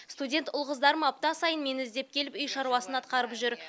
студент ұл қыздарым апта сайын мені іздеп келіп үй шаруасын атқарып жүр